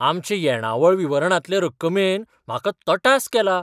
आमचे येणावळ विवरणांतले रक्कमेन म्हाका तटास केला.